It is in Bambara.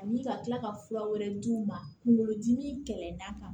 Ani ka kila ka fura wɛrɛ d' u ma kungolo dimi kɛlɛ na